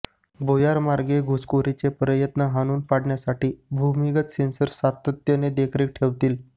भुयारमार्गे घुसखोरीचे प्रयत्न हाणून पाडण्यासाठी भूमिगत सेन्सर्स सातत्याने देखरेख ठेवतील